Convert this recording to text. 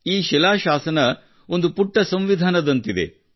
ಈ ಶಿಲಾಶಾಸನ ಒಂದು ಪುಟ್ಟ ಸಂವಿಧಾನದಂತಿದೆ